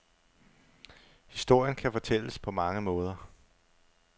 Historien kan fortælles på mange måder.